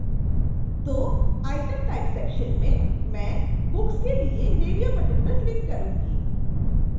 तो item type section में मैं books के लिए रेडियो बटन पर क्लिक करूंगी